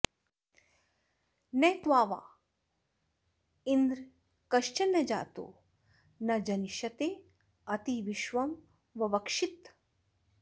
न त्वावा॑ँ इन्द्र॒ कश्च॒न न जा॒तो न ज॑निष्य॒तेऽति॒ विश्वं॑ ववक्षिथ